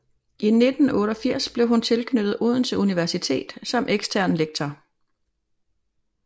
I 1988 blev hun tilknyttet Odense Universitet som ekstern lektor